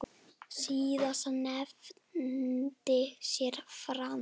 Síðast nefndi séra Frank